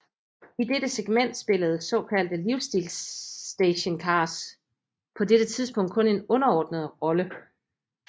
I dette segment spillede såkaldte livsstilsstationcars på dette tidspunkt kun en underordnet rolle